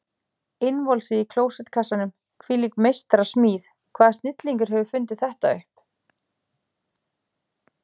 Innvolsið í klósettkassanum, hvílík meistarasmíð, hvaða snillingur hefur fundið þetta upp?